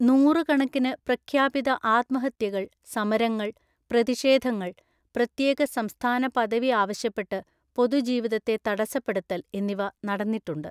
നൂറുകണക്കിന് പ്രഖ്യാപിത ആത്മഹത്യകൾ, സമരങ്ങൾ, പ്രതിഷേധങ്ങൾ, പ്രത്യേക സംസ്ഥാന പദവി ആവശ്യപ്പെട്ട് പൊതുജീവിതത്തെ തടസ്സപ്പെടുത്തൽ എന്നിവ നടന്നിട്ടുണ്ട്.